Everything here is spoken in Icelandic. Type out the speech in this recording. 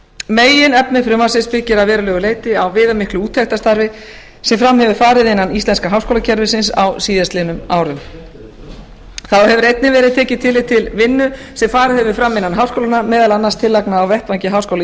meginefni frumvarpsins byggir að verulegu leyti á viðamiklu úttektarstarfi sem fram hefur farið innan íslenska háskólakerfisins á síðast liðnum árum þá hefur einnig verið tekið tillit til vinnu sem farið hefur fram innan háskólanna meðal annars tillagna á vettvangi háskóla